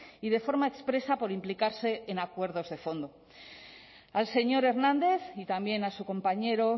y de forma expresa por implicarse en acuerdos de fondo al señor hernández y también a su compañero